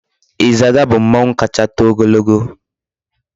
Izaga bu mmanwu kacha too ogologo